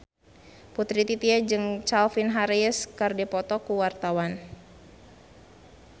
Putri Titian jeung Calvin Harris keur dipoto ku wartawan